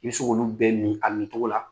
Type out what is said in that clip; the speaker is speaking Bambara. I bɛ se k'olu bɛ min a min cogo la.